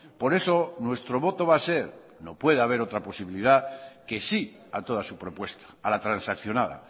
por eso nuestro voto va a ser no puede haber otra posibilidad que sí a toda su propuesta a la transaccionada